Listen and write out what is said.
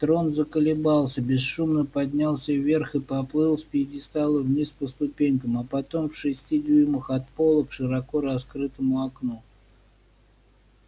трон заколебался бесшумно поднялся вверх и поплыл с пьедестала вниз по ступенькам а потом в шести дюймах от пола к широко раскрытому окну